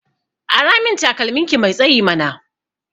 Aramin takalmin ki mai tsayi mana